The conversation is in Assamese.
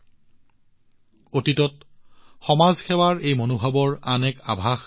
কেইদিনমান পূৰ্বে দেশত সমাজ সেৱাৰ এই মনোভাৱৰ আন এক আভাস পোৱা গৈছে